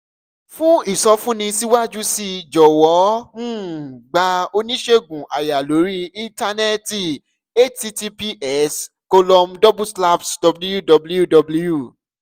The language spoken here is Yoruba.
fún ìsọfúnni síwájú sí i jọ̀wọ́ um gba oníṣègùn àyà lórí íńtánẹ́ẹ̀tì https colom double slash www